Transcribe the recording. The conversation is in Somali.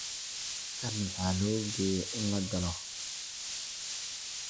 Kan maxa logeye in lagalo.